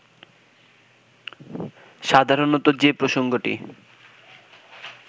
সাধারণত যে প্রসঙ্গটি